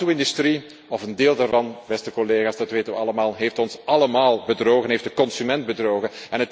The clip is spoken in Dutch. De auto industrie, of een deel daarvan, beste collega's, dat weten we allemaal, heeft ons allemaal bedrogen, heeft de consument bedrogen.